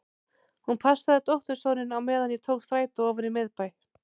Hún passaði dóttursoninn á meðan ég tók strætó ofan í miðbæ.